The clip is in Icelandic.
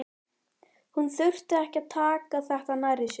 Hún þurfi ekki að taka þetta nærri sér.